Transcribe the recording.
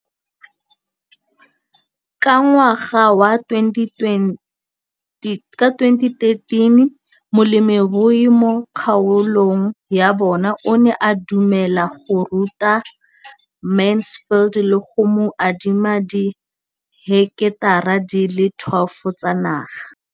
Ka ngwaga wa 2013, molemirui mo kgaolong ya bona o ne a dumela go ruta Mansfield le go mo adima di heketara di le 12 tsa naga.